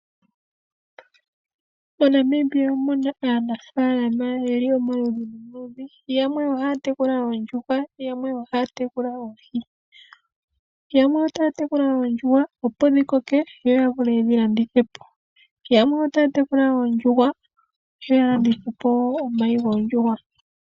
MoNamibia omuna aanafaalama yeli omaludhi nomaludhi, yamwe ohaya tekula oondjuhwa, yamwe ohaya tekula oohi. Yamwe otaya tekula oondjuhwa yo ya shuwe yedhi landithe po. Yamwe otaya tekula oondjuhwa yo ya landithe po woo omayi goondjuhwa.